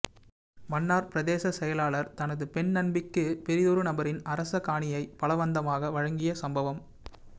மன்னார் பிரதேசச் செயலாளர் தனது பெண் நண்பிக்கு பிரிதொரு நபரின் அரச காணியை பலவந்தமாக வழங்கிய சம்பவம்